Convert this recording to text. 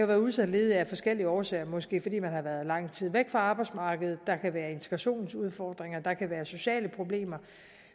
være udsat ledig af forskellige årsager måske fordi man har været lang tid væk fra arbejdsmarkedet der kan være integrationsudfordringer der kan være sociale problemer